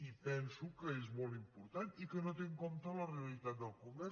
i penso que és molt important i que no té en compte la realitat del comerç